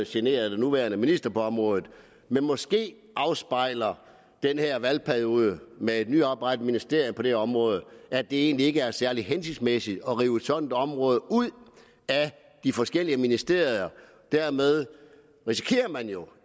genere den nuværende minister på området men måske afspejler den her valgperiode med et nyoprettet ministerie på det her område at det egentlig ikke er særlig hensigtsmæssigt at rive et sådant område ud af de forskellige ministerier dermed risikerer man jo